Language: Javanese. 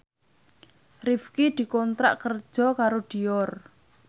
Rifqi dikontrak kerja karo Dior